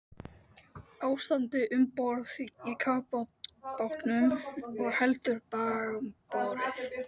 Ástandið um borð í kafbátnum var heldur bágborið.